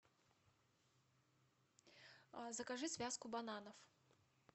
закажи связку бананов